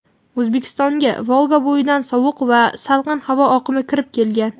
O‘zbekistonga Volgabo‘yidan sovuq va salqin havo oqimi kirib kelgan.